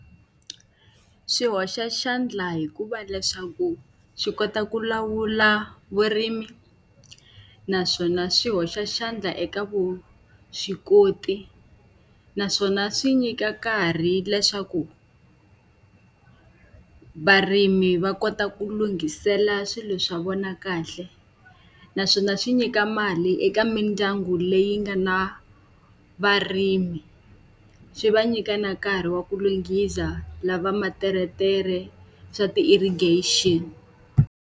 Swi hoxa xandla hikuva leswaku swi kota ku lawula vurimi naswona swi hoxa xandla eka vuswikoti. Naswona swi nyika nkarhi leswaku varimi va kota ku lunghisela swilo swa vona kahle. Naswona swi nyika mali eka mindyangu leyi nga na varimi, swi va nyika na nkarhi wa ku lunghisa lava materetere swa ti-irrigation.